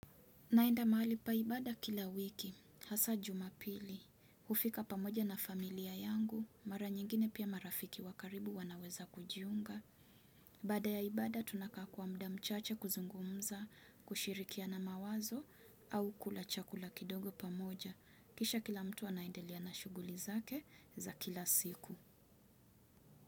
Naenda mahali pa ibada kila wiki, hasa jumapili, hufika pamoja na familia yangu, mara nyingine pia marafiki wa karibu wanaweza kujiunga. Baada ya ibada tunakaa kwa muda mchache kuzungumza, kushirikiana mawazo au kula chakula kidogo pamoja. Kisha kila mtu anaendelea na shughuli zake za kila siku.